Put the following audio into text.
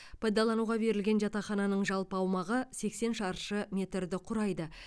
пайдалануға берілген жатақхананың жалпы аумағы сексен шары метрді құрайды